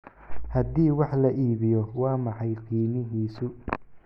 haddii wax la iibiyo waa maxay qiimihiisu